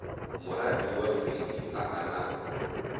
moratiwa freddie ga a na